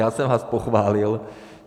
Já jsem vás pochválil.